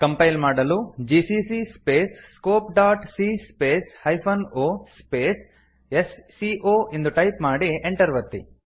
compile ಮಾಡಲು GCC space scope dot c space hyphen O space S C O ಎಂದು type ಮಾಡಿ Enter ಒತ್ತಿ